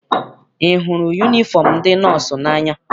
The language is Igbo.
Ị hụrụ yunifọm ndị nọọsụ n'anya?